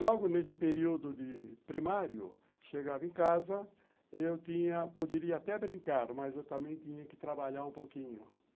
Logo nesse período de primário, chegava em casa, eu tinha, poderia até brincar, mas eu também tinha que trabalhar um pouquinho.